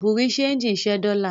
Bùrúdì ṣẹegì ń ṣẹ́ dọ́lá.